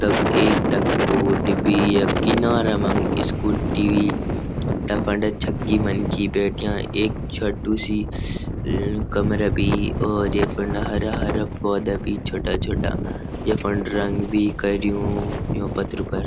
तब एक तख बोट भी यख किनारा मा स्कूटी त फंड छक्की मनखी बैठ्याँ एक छोटू सी कमरा भी और य फंड हरा हरा पौधा भी छोटा छोटा य फंड रंग भी कर्युं यूँ पत्थरों पर।